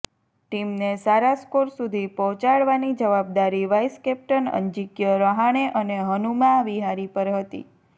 ટીમને સારા સ્કોર સુધી પહોંચાડવાની જવાબદારી વાઈસ કેપ્ટન અજિંક્ય રહાણે અને હનુમા વિહારી પર હતી